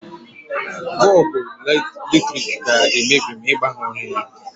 Bọlbụ latrik ga-emebi ma Ị gbanyụghị ya.